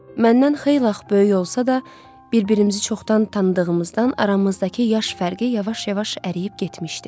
Məndən xeyli ağ böyük olsa da, bir-birimizi çoxdan tanıdığımızdan aramızdakı yaş fərqi yavaş-yavaş əriyib getmişdi.